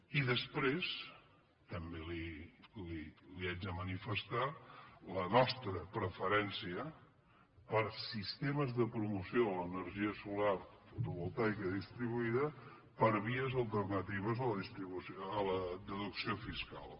i després també li haig de manifestar la nostra prefe·rència per sistemes de promoció de l’energia solar fo·tovoltaica distribuïda per vies alternatives a la deducció fiscal